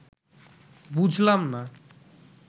বুঝলাম না